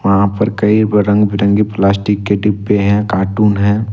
वहा पर कई रंग बिरंगे प्लास्टिक के डिब्बे हैं कार्टून हैं।